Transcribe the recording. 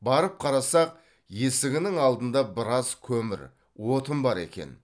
барып қарасақ есігінің алдында біраз көмір отын бар екен